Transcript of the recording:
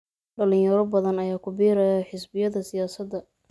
Dhalinyaro badan ayaa ku biiraya xisbiyada siyaasadda.